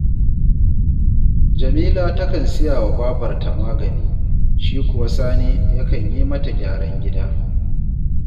Jamila takan siya wa babarta magani, shi kuwa Sani yakan yi mata gyaran gida